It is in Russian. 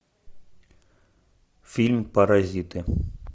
фильм паразиты